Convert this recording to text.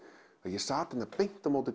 að ég sæti beint á móti